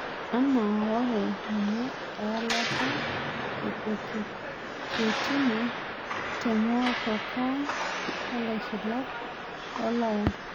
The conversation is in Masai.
Anaa wore ninye ewalata eh pochetino te motokaa olaisulak loloya